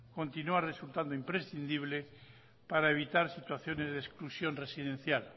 continúa resultando imprescindible para evitar situaciones de exclusión residencial